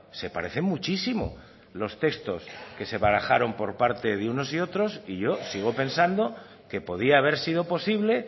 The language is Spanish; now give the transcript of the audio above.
se parece muchísimo los textos que se barajaron por parte de unos y otros y yo sigo pensando que podía haber sido posible